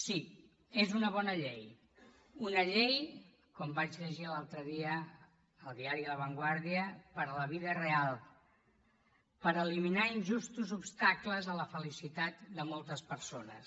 sí és una bona llei una llei com vaig llegir l’altre dia al diari la vanguardianar injustos obstacles a la felicitat de moltes persones